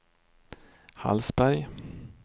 Hallsberg